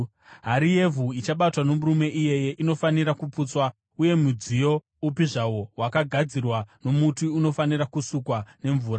“ ‘Hari yevhu ichabatwa nomurume iyeye inofanira kuputswa uye mudziyo upi zvawo wakagadzirwa nomuti unofanira kusukwa nemvura.